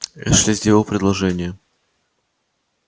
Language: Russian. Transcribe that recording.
эшли сделал предложение